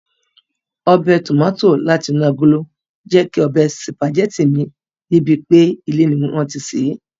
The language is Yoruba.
Ọbẹ̀ Tòmátì láti inú agolo jẹ́ kí ọbẹ̀ Sùpàgẹ́tì mi rí bíi pé ilé ni wọ́n ti sè é